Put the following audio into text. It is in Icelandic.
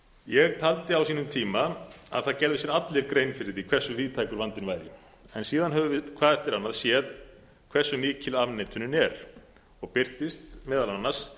ég taldi á sínum tíma að það gerðu sér allir grein fyrir því hversu víðtækur vandinn væri en síðan höfum við hvað eftir annað séð hversu mikil afneitunin er og birtist meðal annars